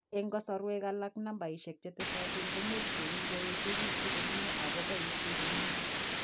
En kasarwek alak nambaisek chetesotin komuch kokikoechegitun komye ako boisie komye